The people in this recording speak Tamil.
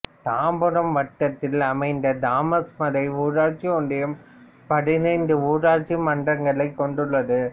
தாம்பரம் வட்டத்தில் அமைந்த தாமஸ் மலை ஊராட்சி ஒன்றியம் பதினைந்து ஊராட்சி மன்றங்களைக் கொண்டுள்ளது